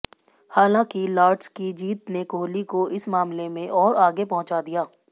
हालांकि लॉर्ड्स की जीत ने कोहली को इस मामले में और आगे पहुंचा दिया